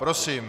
Prosím.